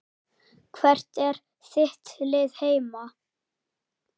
Hvert er þitt lið heima?